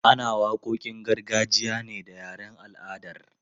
Ana waƙoƙin gargajiya ne da yaren al'adar.